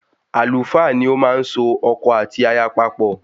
Àlùfáà ni ọ máa n so ọkọ àti aya papọ́